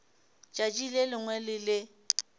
tšatši le lengwe le le